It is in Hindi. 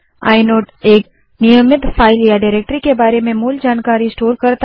आइनोड एक नियमित फाइल या डाइरेक्टरी के बारे में मूल जानकारी स्टोर करता है